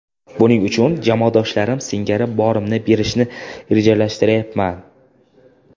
Buning uchun jamoadoshlarim singari borimni berishni rejalashtiryapman.